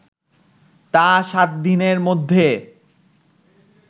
তা ৭ দিনের মধ্যে